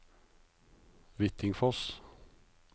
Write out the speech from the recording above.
Hvittingfoss